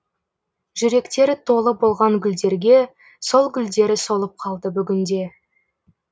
жүректері толы болған гүлдерге сол гүлдері солып қалды бүгінде